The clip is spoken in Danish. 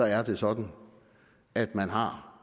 er det sådan at man har